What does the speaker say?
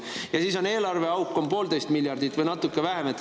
Ja siis on eelarveauk poolteist miljardit või natuke vähem.